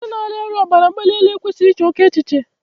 Onye na-arịa ọbara mgbali elu e kwesịghị ị che oké echiche.